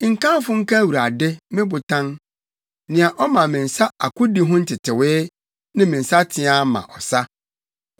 Nkamfo nka Awurade, me Botan, nea ɔma me nsa akodi ho ntetewee, ne me nsateaa ma ɔsa.